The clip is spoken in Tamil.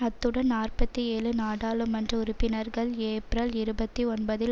அத்துடன் நாற்பத்தி ஏழு நாடாளுமன்ற உறுப்பினர்கள் ஏப்ரல் இருபத்தி ஒன்பதில்